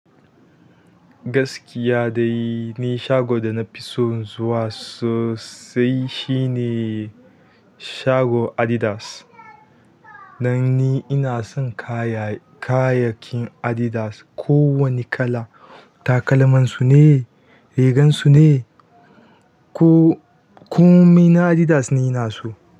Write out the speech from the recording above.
Gaskiya dai ni shago da na fi son zuwa sosai shine shagon Adidas. Dan ni ina son kaya-kayakin Adidas, kowane kala. Takalamansu ne, rigansu ne, ko-komai na Adidas ni ina so.